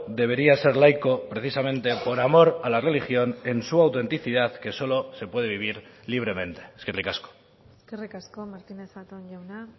debería ser laico precisamente por amor a la religión en su autenticidad que solo se puede vivir libremente eskerrik asko eskerrik asko martínez zatón jauna